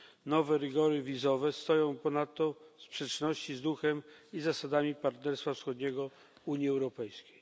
Nowe rygory wizowe stoją ponadto w sprzeczności z duchem i zasadami Partnerstwa Wschodniego Unii Europejskiej.